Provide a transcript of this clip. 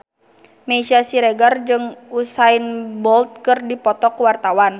Meisya Siregar jeung Usain Bolt keur dipoto ku wartawan